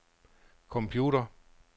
computer